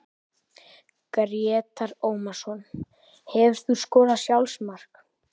Grétar Ómarsson Hefurðu skorað sjálfsmark?